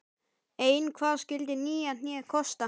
Ein hvað skyldi nýja hnéð kosta?